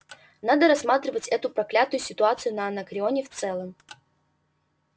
надо рассматривать эту проклятую ситуацию на анакреоне в целом